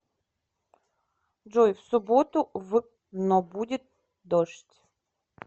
джой в субботу в но будет дождь